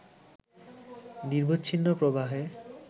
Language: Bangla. নিরবচ্ছিন্ন প্রবাহে